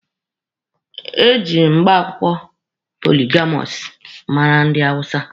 Eji agbamakwụkwọ poligamọsụ mara ndị hawụsa.